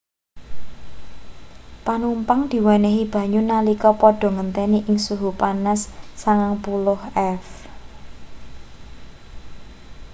panumpang diwenehi banyu nalika padha ngenteni ing suhu panas 90f